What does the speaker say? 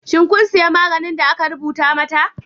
Shin kun sayi maganin da aka rubuta mata?